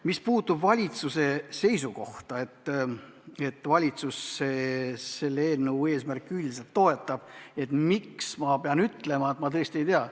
Mis puudutab valitsuse seisukohta, seda, et valitsus selle eelnõu eesmärke üldiselt toetab, aga miks, siis ma pean ütlema, et ma tõesti ei tea.